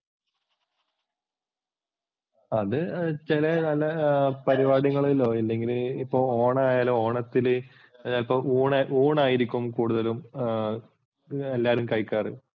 അത് ചില നല്ല പരിപാടികളിലോ അല്ലെങ്കില് ഇപ്പോൾ ഓണമായാലോ ഓണത്തിനു ഇപ്പോൾ ഊണായിരിക്കും കൂടുതലും എല്ലാരും കഴിക്കാറ്.